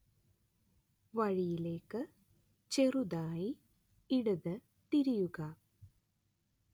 വഴിയിലേക്ക് ചെറുതായി ഇടത് തിരിയുക